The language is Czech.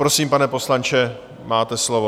Prosím, pane poslanče, máte slovo.